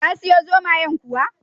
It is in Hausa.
Ka siyo zomayen kuwa?